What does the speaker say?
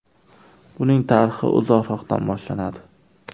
Buning tarixi uzoqroqdan boshlanadi.